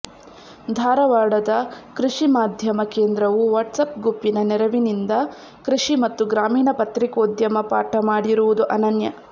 ಧಾರವಾಡದ ಕೃಷಿ ಮಾಧ್ಯಮ ಕೇಂದ್ರವು ವಾಟ್ಸಪ್ ಗುಂಪಿನ ನೆರವಿನಿಂದ ಕೃಷಿ ಮತ್ತು ಗ್ರಾಮೀಣ ಪತ್ರಿಕೋದ್ಯಮ ಪಾಠ ಮಾಡಿರುವುದು ಅನನ್ಯ